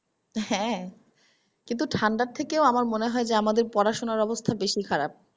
হ্যা কিন্তু ঠান্ডার থেকেও আমার মনে হয় যে আমাদের পড়াশুনোর অবস্থা বেশি খারাপ।